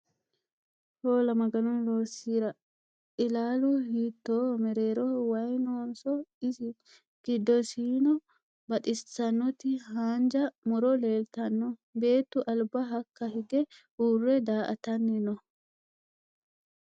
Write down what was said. Hoola maganu loosirra!! Illalu hiitoho? Merreroho wayi nooniso isi? giddosinno baxisanoti haanija murro leelitanno beettu aliba ka'a higge uurre daa'atanni nooho